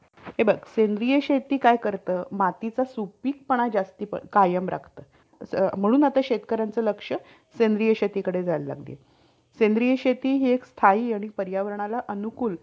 telecommunication as far as आपण जर म्हणून तर हा एक खूप चांगला business हि आहे आणि business आह सोबत हि एक आजची एक खूप मोठी गरज हि आहे.